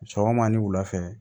Sɔgɔma ni wulafɛ